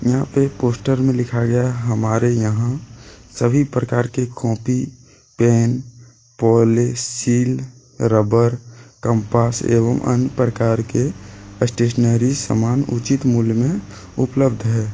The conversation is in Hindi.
यहां पे पोस्टर में लिखा गया है। हमारे यहां सभी प्रकार के कॉपी पेन पोलेसील रबड़ कंपास एवं अन्य प्रकार के स्टेशनरी सामान उचित मूल्य मे उपलब्ध है।